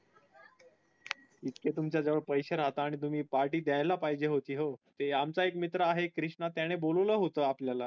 इतके तुमच्या जवळ पैसे राहता आणि तुम्ही party द्याला पाहीजे होती हो आमचा एक मित्र आहे कृष्णा त्याने बोलावले होतें आपल्याला